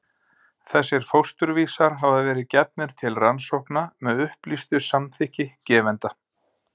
Þessir fósturvísar hafa verið gefnir til rannsókna með upplýstu samþykki gefenda.